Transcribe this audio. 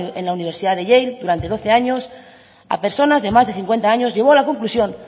en la universidad de yale durante doce años a personas de más de cincuenta años llevó a la conclusión